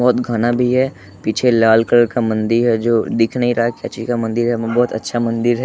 बहोत घना भी है पीछे लाल कलर का मंदिर है जो दिख नहीं रहा क्या चीज का मंदिर है बहोत अच्छा मंदिर है।